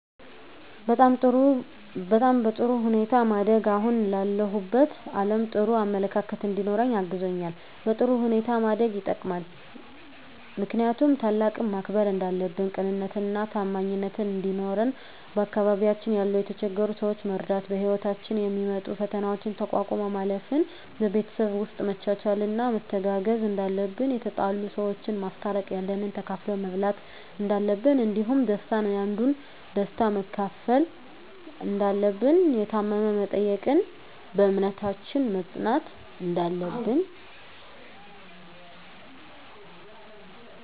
በጣም በጥሩ ሁኔታ ማደጌ አሁን ላለሁበት አለም ጥሩ አመለካከት እንዲኖረኝ አግዞኛል በጥሩ ሁኔታ ማደግ የጠቅማል ምክንያቱም ታላቅን ማክበር እንዳለብን ቅንነትና ታማኝነት እንዲኖረን በአካባቢያችን ያሉ የተቸገሩ ሰዎችን መርዳት በህይወታችን የሚመጡ ፈተናዎችን ተቋቁሞ ማለፍ ን በቤተሰብ ውስጥ መቻቻልና መተጋገዝ እንዳለብን የተጣሉ ሰዎችን ማስታረቅ ያለንን ተካፍሎ መብላት እንዳለብን እንዲሁም ደስታን ያንዱን ደስታ መካፈል እንዳለብን የታመመ መጠየቅን በእምነታችን መፅናት እንዳለብን